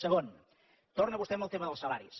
segon torna vostè amb el tema dels salaris